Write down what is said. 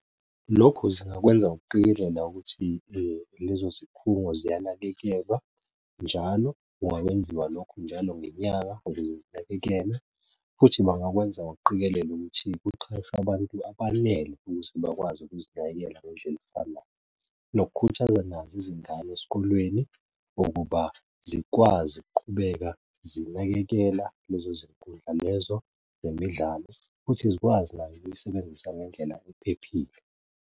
Lokhu zingakwenza ngokuqikelela ukuthi lezo zikhungo ziyanakekelwa njalo. Kungakwenziwa lokho njalo ngenyanga, ukuze zinakekelwe futhi bangakwenza ngokuqikelela ukuthi kuqashwe abantu abanele ukuthi bakwazi ukuzinakekela ngendlela efanayo. Nokukhuthaza nazo izingane esikolweni ukuba zikwazi ukuqhubeka zinakekela lezo zinkundla lezo zemidlalo futhi zikwazi nazo ukuyisebenzisa ngendlela ephephile.